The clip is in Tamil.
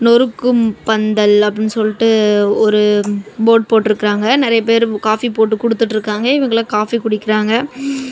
ஒரு கும்ப பந்தல் அப்படின்னு சொல்லிட்டு ஒரு போர்டு போட்டுருக்காங்க நிறைய பேரு காபி போட்டு குடுத்து இருக்காங்க இவங்கள காபி குடிக்கிறாங்க.